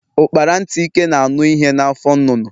Ukpara ntị ike na anụ ihe na afọ nnụnụ.